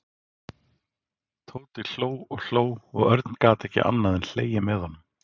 Tóti hló og hló og Örn gat ekki annað en hlegið með honum.